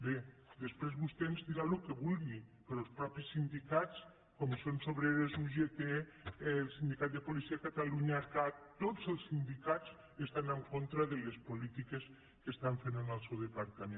bé després vostè ens dirà el que vulgui però els ma·teixos sindicats comissions obreres ugt el sindicat de policia de catalunya cat tots els sindicats estan en contra de les polítiques que estan fent en el seu de·partament